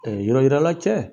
Yɔrɔ yirala cɛ